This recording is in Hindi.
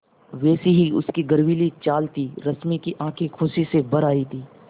वैसी ही उसकी गर्वीली चाल थी रश्मि की आँखें खुशी से भर आई थीं